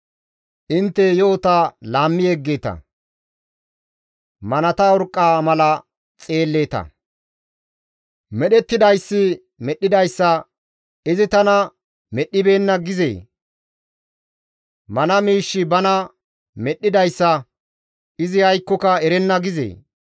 Intte yo7ota laammi yeggeeta; manata urqqa mala xeelleeta! Medhettidayssi medhdhidayssa, «Izi tana medhdhibeenna» gizee? Mana miishshi bana medhdhidayssa, «Izi aykkoka erenna» gizee?